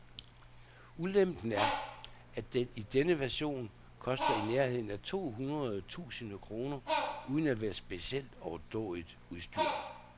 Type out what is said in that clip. Ulempen er, at den i denne version koster i nærheden af to hundrede tusinde kroner uden at være specielt overdådigt udstyret.